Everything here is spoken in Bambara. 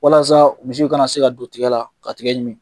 Walasaa misiw kana se ka don tigɛ la ka tigɛ ɲimi.